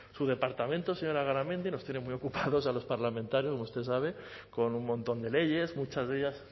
su departamento señora garamendi nos tiene muy ocupados a los parlamentarios como usted sabe con un montón de leyes muchas de ellas